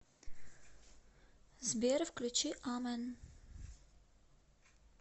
сбер включи амен